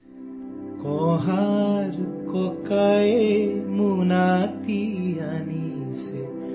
Assamese sound clip 35 seconds Hindi translation